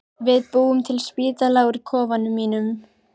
Við búum til spítala úr kofanum mínum.